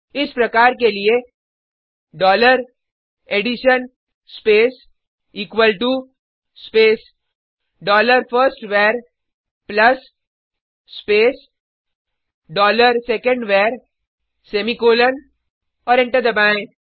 इस प्रकार के लिए dollar addition space equal to space dollar first var plus space dollar second var semicolon और एंटर दबाएँ